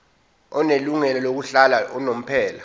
onelungelo lokuhlala unomphela